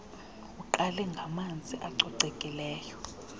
uqale ngamanzi acocekileyo